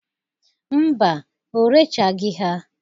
Mba, o rechagị ha.